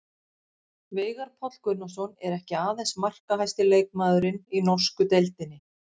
Veigar Páll Gunnarsson er ekki aðeins markahæsti leikmaðurinn í norsku deildinni.